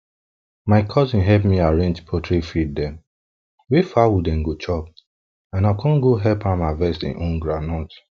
my cousin help me arrange poultry feed dem wey fowl den go chop and i con go help am harvest e own groundnut